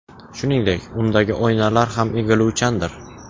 Shuningdek, undagi oynalar ham egiluvchandir.